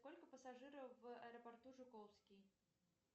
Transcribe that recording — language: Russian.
сколько пассажиров в аэропорту жуковский